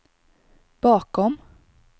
bakom